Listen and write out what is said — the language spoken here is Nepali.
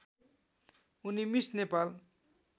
उनी मिस नेपाल